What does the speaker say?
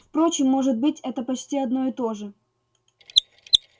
впрочем может быть это почти одно и то же